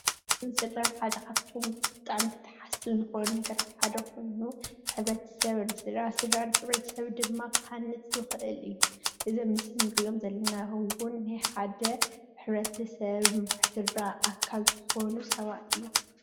ሕ/ሰብን ስድራን ሓደ ካብቶም ብጣዕሚ ተተሓዝቲ ዝኮኑ ነገራት ሓደ ኮይኑ ሕ/ሰብ ንስድራ ስድራ ንሕ/ሰብ ድማ ክሃንፅ ዝክእል እዩ። እዚ ኣብ ምስሊ ንሪኦም ዘለና እውን ናይ ሓደ ሕ/ሰብ መምርሒ ስድራ ኣካል ዝኮኑ ሰባት እዮም።